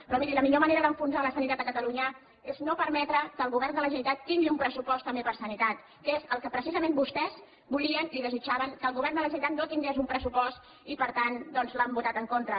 però miri la millor manera d’enfonsar la sanitat a catalunya és no permetre que el govern de la generalitat tingui un pressupost també per a sanitat que és el que precisament vostès volien i desitjaven que el govern de la generalitat no tingués un pressupost i per tant doncs l’han votat en contra